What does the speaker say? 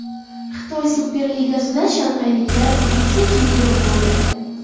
Xitoy Super Ligasida shanxayliklar vitse-chempion bo‘ldi.